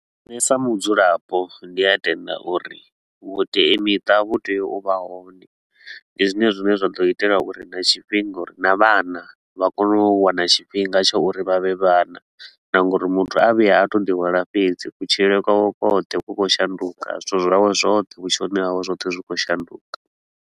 Nne sa mudzulapo ndi a tenda uri vhuteamiṱa vhu tea u vha hone, ndi zwine zwine zwa ḓo itela uri na tshifhinga uri na vhana vha kone u wana tshifhinga tsha uri vha vhe vhana na nga uri muthu a vhuya a to ḓihwala fhedzi, kutshilele kwawe kwoṱhe ku khou shanduka, zwithu zwawe zwothe vhutshiloni hawe zwoṱhe zwi khou shanduka.